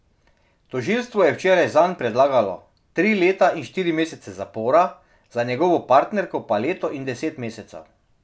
Tožilstvo je včeraj zanj predlagalo tri leta in štiri mesece zapora, za njegovo partnerko pa leto in deset mesecev.